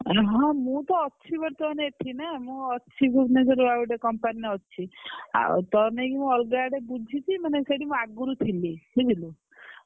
ହଁ ମୁଁ ତ ଅଛି ବର୍ତମାନ ଏଠି ନା ମୁଁ ଅଛି ଭୁବନେଶ୍ବରର ଆଉ ଗୋଟେ company ରେ ଅଛି ଆଉ ତୋରି ଲାଗି ମୁଁ ଅଲଗା ଆଡେ ବୁଝିଛି ମାନେ ସେଇଠି ମୁଁ ଆଗରୁ ଥିଲି ବୁଝିଲୁ।